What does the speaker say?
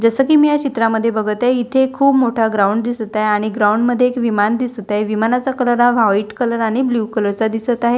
जसं की मी या चित्रामध्ये बघते इथे खूप मोठा ग्राउंड दिसत आहे आणि ग्राउंड मध्ये एक विमान दिसत आहे विमानाचा कलर हा व्हाईट कलर आणि ब्ल्यू कलर दिसत आहे.